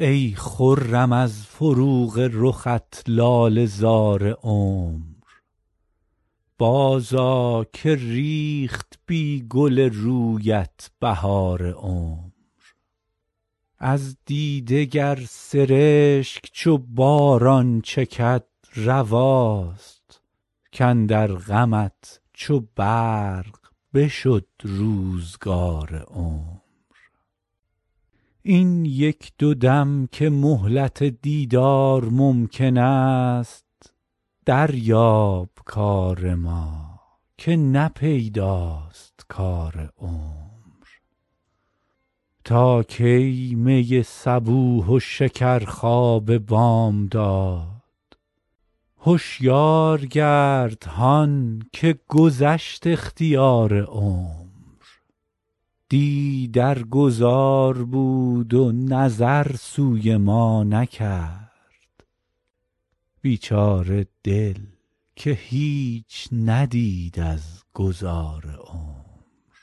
ای خرم از فروغ رخت لاله زار عمر بازآ که ریخت بی گل رویت بهار عمر از دیده گر سرشک چو باران چکد رواست کاندر غمت چو برق بشد روزگار عمر این یک دو دم که مهلت دیدار ممکن است دریاب کار ما که نه پیداست کار عمر تا کی می صبوح و شکرخواب بامداد هشیار گرد هان که گذشت اختیار عمر دی در گذار بود و نظر سوی ما نکرد بیچاره دل که هیچ ندید از گذار عمر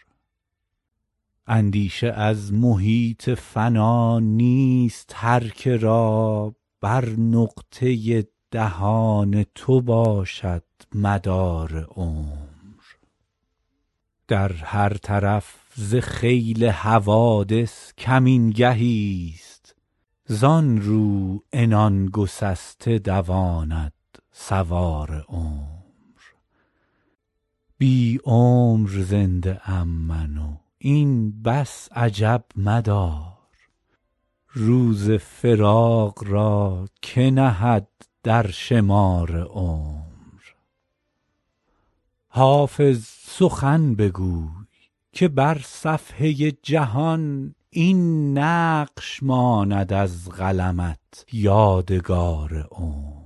اندیشه از محیط فنا نیست هر که را بر نقطه دهان تو باشد مدار عمر در هر طرف ز خیل حوادث کمین گهیست زان رو عنان گسسته دواند سوار عمر بی عمر زنده ام من و این بس عجب مدار روز فراق را که نهد در شمار عمر حافظ سخن بگوی که بر صفحه جهان این نقش ماند از قلمت یادگار عمر